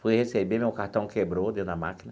Fui receber, meu cartão quebrou dentro da máquina.